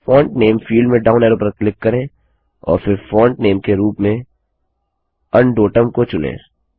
font name field में down arrow पर click करें और फिर फॉन्टनेम के रूप में अंडोटम को चुनें